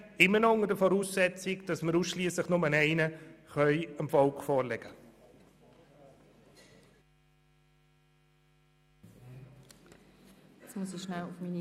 Dies sage ich unter der Voraussetzung, dass wir dem Volk nur einen Antrag vorlegen können.